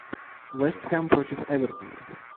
вестхэм против эвертона